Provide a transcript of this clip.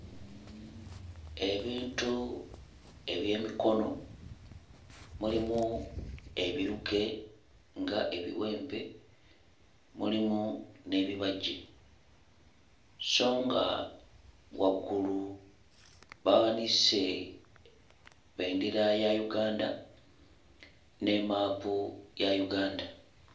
Ebintu eby'emikono mulimu ebiruke ng'ebiwempe, mulimu n'ebibajja so nga waggulu bawanise bendera ya Uganda ne maapu ya Uganda.